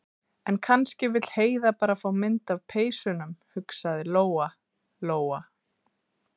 En kannski vill Heiða bara fá mynd af peysunum, hugsaði Lóa- Lóa.